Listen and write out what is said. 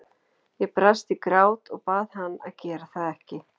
Ég brast í grát og bað hann að gera það ekki.